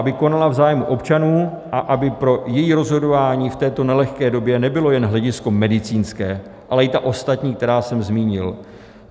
Aby konala v zájmu občanů a aby pro její rozhodování v této nelehké době nebylo jen hledisko medicínské, ale i ta ostatní, která jsem zmínil.